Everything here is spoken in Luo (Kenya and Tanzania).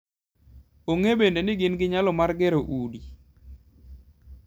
Ong'e bende ni gin gi nyalo mar gero udi.